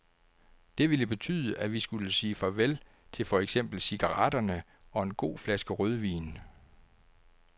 Det ville betyde, at vi skulle sige farvel til for eksempel cigaretterne og en god flaske rødvin.